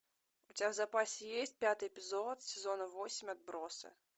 у тебя в запасе есть пятый эпизод сезона восемь отбросы